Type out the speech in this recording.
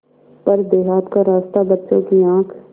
पर देहात का रास्ता बच्चों की आँख